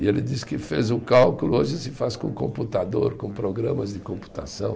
E ele disse que fez o cálculo, hoje se faz com computador, com programas de computação.